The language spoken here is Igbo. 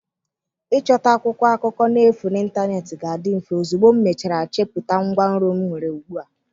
Ịchọta akwụkwọ akụkọ n'efu n'ịntanetị ga-adị mfe ozugbo m mechara chepụta ngwanro m nwere ugbu a.